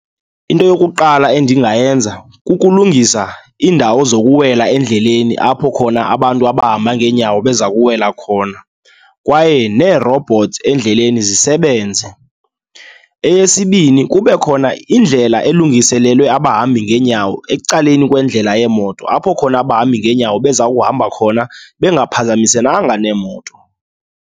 Into yokuqala endingayenza kukulungisa iindawo zokuwela endleleni apho khona abantu abahamba ngeenyawo bezakuwela khona kwaye nee-robots endleleni zisebenze. Eyesibini kube khona indlela elungiselelwe abahambi ngeenyawo ecaleni kwendlela yeemoto, apho khona abahambi ngeenyawo bezawuhamba khona bengaphazamisenanga neemoto.